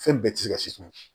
Fɛn bɛɛ tɛ se ka siman